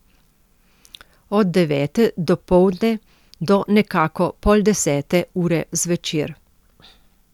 Od devete dopoldne do nekako pol desete ure zvečer.